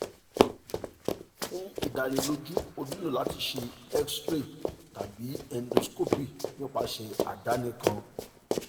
fun idaniloju o nilo lati ṣe x-ray tabi endoscopy nipasẹ adani kan